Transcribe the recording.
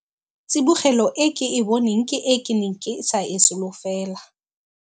Tsibogelo e ke e boneng ke e ke neng ke sa e solofela.